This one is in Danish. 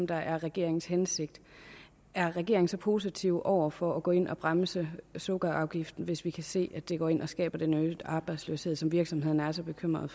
der er regeringens hensigt er regeringen så positiv over for at gå ind og bremse sukkerafgiften altså hvis vi kan se at det går ind og skaber en øget arbejdsløshed som virksomhederne er så bekymrede